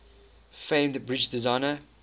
famed bridge designer